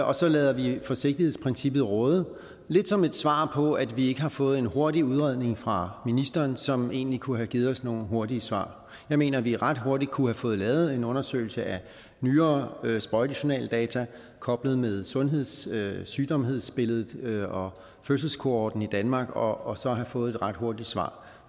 og så lader vi forsigtighedsprincippet råde lidt som et svar på at vi ikke har fået en hurtig udredning fra ministeren som egentlig kunne have givet os nogle hurtige svar jeg mener at vi ret hurtigt kunne have fået lavet en undersøgelse af nyere sprøjtejournaldata koblet med sundheds sygdomsbilledet og fødselskohorten i danmark og så have fået et ret hurtigt svar